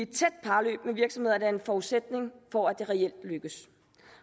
tæt parløb med virksomhederne er en forudsætning for at det reelt lykkes